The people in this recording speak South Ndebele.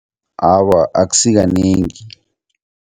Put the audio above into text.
Awa, akusikanengi.